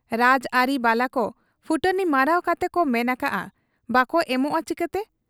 ᱨᱟᱡᱽ ᱟᱟᱹᱨᱤ ᱵᱟᱞᱟᱠᱚ ᱯᱷᱩᱴᱟᱹᱱᱤ ᱢᱟᱨᱟᱣ ᱠᱟᱛᱮᱠᱚ ᱢᱮᱱ ᱟᱠᱟᱜ ᱟ, ᱵᱟᱠᱚ ᱮᱢᱚᱜ ᱟ ᱪᱮᱠᱟᱛᱮ ?